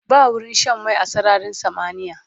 Ba wurin Shan mai a sararin samaniya